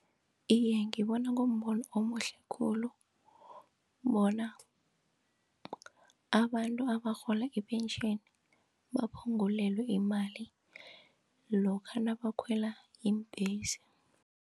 Iye, ngibona kumbono omuhle khulu bona abantu abarhola ipentjheni baphungulelwe imali lokha nabakhwela iimbhesi.